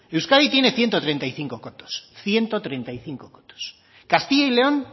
euskadi tiene ciento treinta y cinco cotos castilla y león